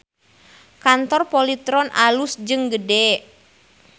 Kantor Polytron alus jeung gede